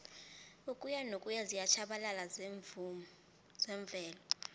ukuyanokuya ziyatjhabalala zemvelo